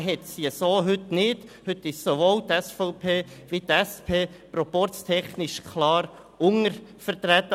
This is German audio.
Diesen hat sie heute noch nicht, heute sind sowohl die SVP als auch die SP proporztechnisch klar untervertreten.